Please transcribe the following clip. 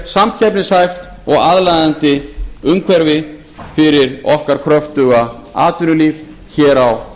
samkeppnishæft og aðlaðandi umhverfi fyrir okkar kröftuga atvinnulíf hér á